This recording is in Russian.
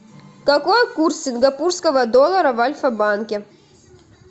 какой курс сингапурского доллара в альфа банке